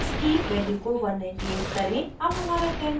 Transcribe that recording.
यहाँ x की value को 198 करें